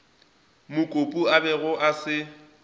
mokopu a bego a se